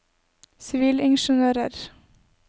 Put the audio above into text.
sivilingeniører